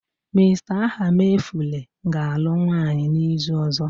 Mr. Ahamefula ga-alụ nwunye n'izu ọzọ